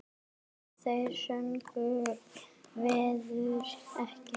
Af þeirri göngu verður ekki.